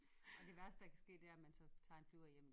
Og det værste der kan ske det er så at man tager en flyver hjem